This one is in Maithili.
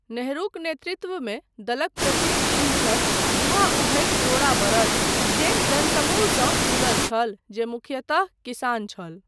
नेहरूक नेतृत्वमे दलक प्रतीक चिन्ह छल 'जुआ उघैत जोड़ा बड़द' जे जनसमूहसँ जुड़ल छल जे मुख्यतः किसान छल।